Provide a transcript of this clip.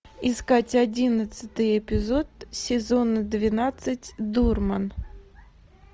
искать одиннадцатый эпизод сезона двенадцать дурман